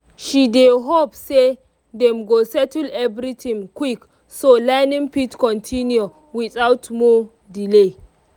she dey hope say dem go settle everything quick so learning fit continue without more delay.